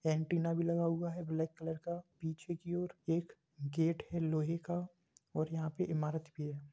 Antenna भी लगा हुआ है ब्लैक कलर का पीछे की ओर एक गेट है लोहे का और यहाँ पे इमारत भी है।